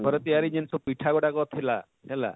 ଘର ତିଆରି ଜିନସ ପିଠା ଗୁଡାକ ଥିଲା ହେଲା,